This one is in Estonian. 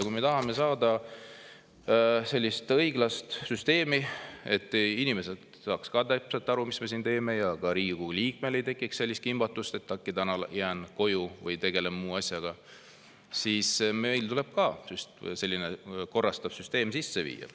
Kui me tahame saada õiglast süsteemi, et inimesed saaksid täpselt aru, mis me siin teeme, ja ka Riigikogu liikmel ei tekiks, et äkki täna jään koju või tegelen muu asjaga, siis meil tuleb ka selline korrastav süsteem sisse viia.